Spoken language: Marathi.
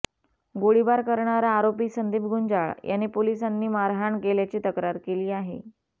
गोळीबार करणारा आरोपी संदीप गुंजाळ याने पोलिसांनी मारहाण केल्याची तक्रार केली आहे